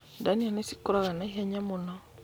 Ndania nĩ cikũraga na ihenya mũno.